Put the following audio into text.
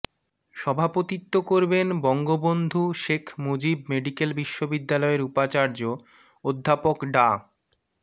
সভাপতিত্ব করবেন বঙ্গবন্ধু শেখ মুজিব মেডিক্যাল বিশ্ববিদ্যালয়ের উপাচার্য অধ্যাপক ডা